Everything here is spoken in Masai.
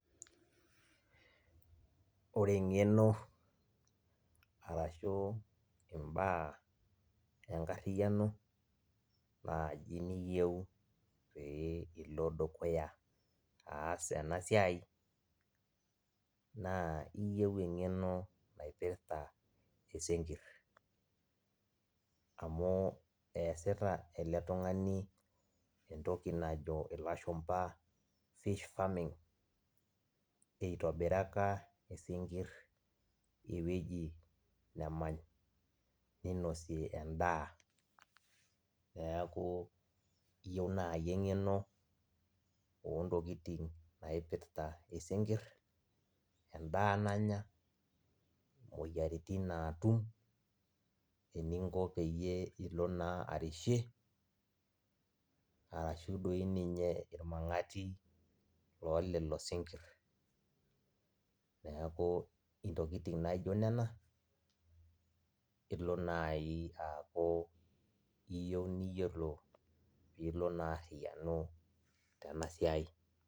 Ore engeno arashu imbaa enkariano na ninche iyieu pilo dukuya aas enasiai na iyieu engeno naipirta isinkir amu easita eletungani entoki najo lashumba fish farming itobiraka isinkir ewoi nemany ninosie endaa neaku kiyieu nai engeno ontokitin naipirta sinkir, endaa nanya moyiaritin natum, eninko peyie ilo na arishie arashu doi ninye irmangati lololo sinkir, neaku ntokitin naijo nona ilo nai aaku iyeu niyolou pilo naa ariyanu tenasiai.